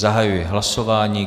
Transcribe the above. Zahajuji hlasování.